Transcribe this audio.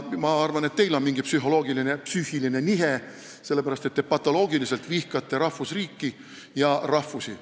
Ma arvan, et teil on mingi psühholoogiline või psüühiline nihe, sellepärast et te patoloogiliselt vihkate rahvusriiki ja rahvusi.